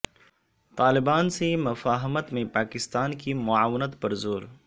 طالبان سے مفاہمت میں پاکستان کی معاونت پر زور